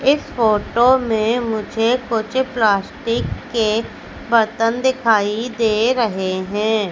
इस फोटो में मुझे कुछ प्लास्टिक के बर्तन दिखाई दे रहे हैं।